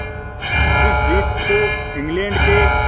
इस जीत को इंग्लैंड के